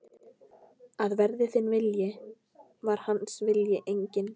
Að verði þinn vilji, var hans vilji einnig.